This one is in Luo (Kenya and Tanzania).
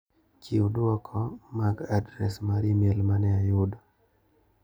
Chiw duoko mag adres mar imel mane ayudo.